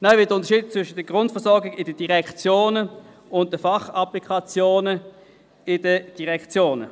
Weiter wird unterschieden zwischen der Grundversorgung in den Direktionen und den Fachapplikationen in den Direktionen.